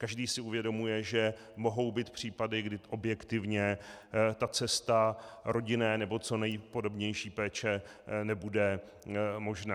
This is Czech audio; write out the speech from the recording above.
Každý si uvědomuje, že mohou být případy, kdy objektivně ta cesta rodinné nebo co nejpodobnější péče nebude možná.